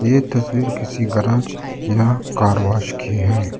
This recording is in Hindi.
ये तस्वीर किसी गराज या कार वाश कि है।